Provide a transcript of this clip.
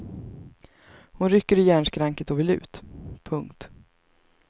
Hon rycker i järnskranket och vill ut. punkt